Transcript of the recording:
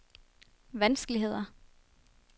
vanskeligheder